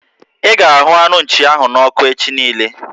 I ga arụ anu Nchi ahụ n'oku echi niile